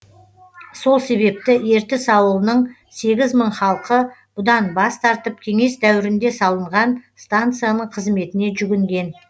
сол себепті ертіс ауылының сегіз мың халқы бұдан бас тартып кеңес дәуірінде салынған станцияның қызметіне жүгінген